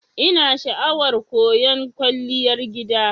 Ina sha'awar koyan Kwalliyar gida.